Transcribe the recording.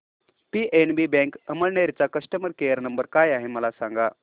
PNB bank Amalner चा customer care number काय आहे मला सांगा